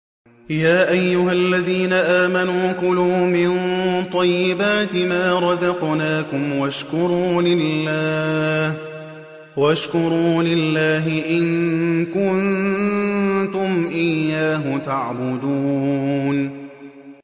يَا أَيُّهَا الَّذِينَ آمَنُوا كُلُوا مِن طَيِّبَاتِ مَا رَزَقْنَاكُمْ وَاشْكُرُوا لِلَّهِ إِن كُنتُمْ إِيَّاهُ تَعْبُدُونَ